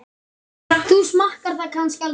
Þú smakkar það kannski aldrei?